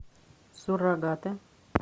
суррогаты